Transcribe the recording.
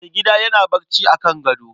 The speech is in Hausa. Mai gida yana barci a kan gado.